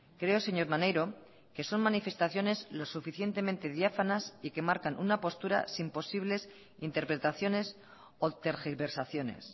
creo señor maneiro que son manifestaciones lo suficientemente diáfanas y que marcan una postura sin posibles interpretaciones o tergiversaciones